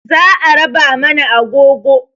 Za a raba mana agogo